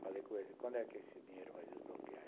Falei com ele, quando é que esse dinheiro vai desbloquear?